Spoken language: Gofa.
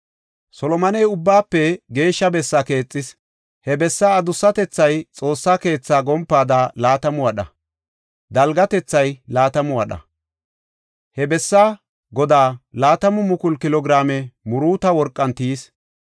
Solomoney Ubbaafe Geeshsha Bessaa keexis. He bessaa adussatethaa Xoossa keethaa gompaada laatamu wadha; gompaay laatamu wadha. He bessaa godaa laatamu mukulu kilo giraame muruuto worqan tiyis.